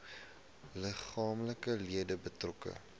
liggaamlike leed betrokke